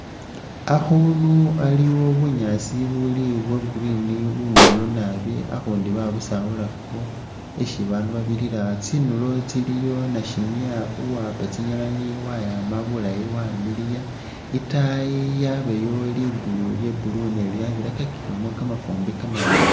Akhuundu aliwo bunyaasi buli bwa green bumiliyu naabi akhundi babusaawulakakho isi babandu babirira tsindulo tsiliwo nasimya uwaapa tsinyilinyi wayaama bulaayi wamiliya itaayi wabaayo liguulu lya blue ne lyabirakakilemo kamafuumbi kamawaanga